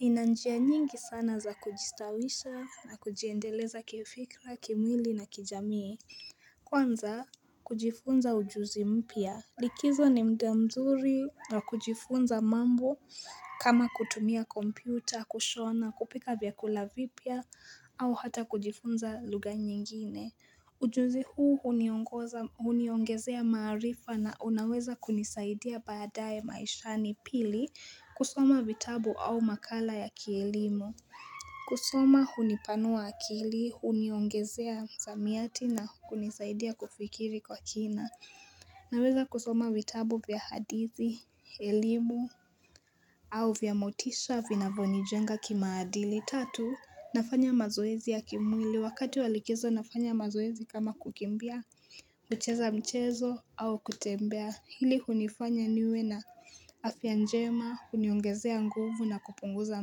Nina njia nyingi sana za kujistawisha na kujiendeleza kifikra, kimwili na kijamii. Kwanza, kujifunza ujuzi mpia. Likizo ni muda mzuri wa kujifunza mambo kama kutumia kompyuta, kushona, kupika vyakula vipya au hata kujifunza lugha nyingine. Ujuzi huu huniongezea maarifa na unaweza kunisaidia baadaye maishani. Pili kusoma vitabu au makala ya kielimu. Kusoma hunipanua akili, huniongezea msamiati na hunisaidia kufikiri kwa kina. Naweza kusoma vitabu vya hadithi, elimu au vya motisha vinavyonijenga kimaadili. Tatu, nafanya mazoezi ya kimwili wakati wa likizo nafanya mazoezi kama kukimbia kucheza mchezo au kutembea, hili hunifanya niwe na afya njema huniongezea nguvu na kupunguza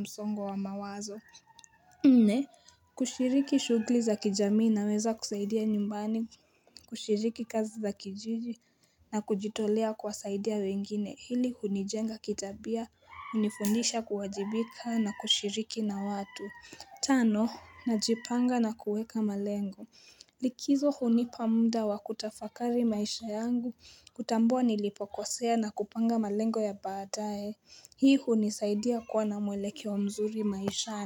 msongo wa mawazo Nne, kushiriki shughuli za kijamii naweza kusaidia nyumbani kushiriki kazi za kijiji na kujitolea kuwasaidia wengine, hili hunijenga kitabia hunifundisha kuwajibika na kushiriki na watu. Tano najipanga na kuweka malengo Likizo hunipa muda wa kutafakari maisha yangu, kutambua nilipokosea na kupanga malengo ya baadaye. Hii hunisaidia kuwa na mwelekeo mzuri maishani.